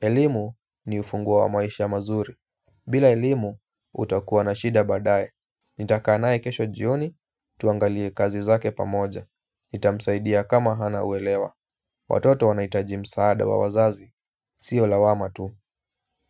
elimu ni ufunguo wa maisha mazuri. Bila elimu, utakuwa na shida badaye. Nitakaa naye kesho jioni, tuangalie kazi zake pamoja. Itamsaidia kama hana uelewa. Watoto wanahitaji msaada wa wazazi, sio lawama tu.